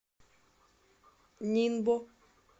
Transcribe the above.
нинбо